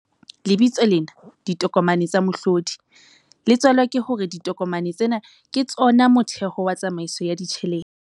Lebitso lena, ditokomane tsa mohlodi, le tswalwa ke hore ditokomane tsena ke tsona motheho wa tsamaiso ya ditjhelete.